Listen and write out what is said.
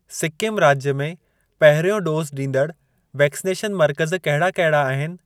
सिक्किम राज्य में पहिरियों डोज़ ॾींदड़ वैक्सनेशन मर्कज़ कहिड़ा कहिड़ा आहिनि?